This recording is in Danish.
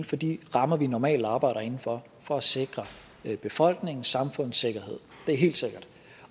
for de rammer vi normalt arbejder inden for for at sikre befolkningen og samfundets sikkerhed det er helt sikkert